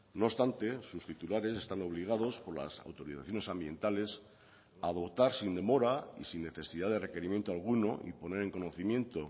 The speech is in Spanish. no obstante sus titulares están obligados por las autorizaciones ambientales a dotar sin demora y sin necesidad de requerimiento alguno y poner en conocimiento